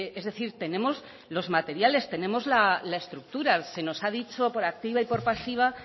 es decir tenemos los materiales tenemos la estructura se nos ha dicho por activa y por pasiva